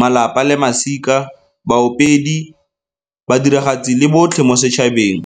malapa le masika, baopedi, badiragatsi le botlhe mo setšhabeng.